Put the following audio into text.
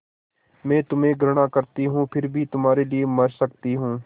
मैं तुम्हें घृणा करती हूँ फिर भी तुम्हारे लिए मर सकती हूँ